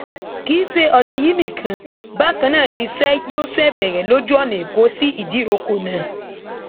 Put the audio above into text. kì í ṣe ọnà yìí nìkan bákan náà niṣẹ yóò ṣe bẹrẹ lójú ọnà ẹkọ sí ìdíròkọ náà